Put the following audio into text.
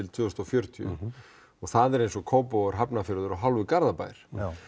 tvö þúsund og fjörutíu og það er eins og Kópavogur Hafnarfjörður og hálfur Garðabær